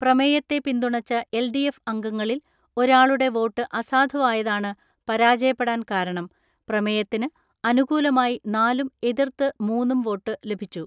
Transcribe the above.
പ്രമേയത്തെ പിന്തുണച്ച എൽ.ഡി.എഫ് അംഗങ്ങളിൽ ഒരാളുടെ വോട്ട് അസാധുവായതാണ് പരാജയപ്പെടാൻ കാരണം.പ്രമേയത്തിന് അനുകൂലമായി നാലും എതിർത്ത് മൂന്നും വോട്ടു ലഭിച്ചു.